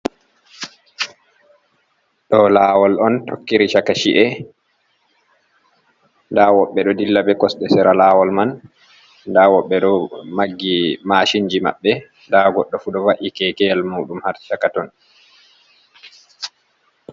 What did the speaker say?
Ɗo lawol on tokkiri chaka chi’e nda woɓɓe ɗo dilla be kosɗe sera lawol man nda woɓɓe ɗo maggi mashinji maɓɓe nda goɗdo fu ɗo va’i kekeyel muɗum har chaka ton.